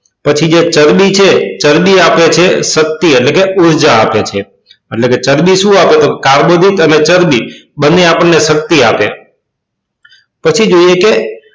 પછી જે ચરબી છે ચરબી આપે છે શક્તિ એટલે કે ઉર્જા આપે છે એટલે કે ચરબી શું આપે તો કાર્બોદીત્ અને ચરબી બંને આપણને શક્તિ આપે છે